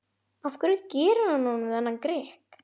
Af hverju gerir hann honum þennan grikk?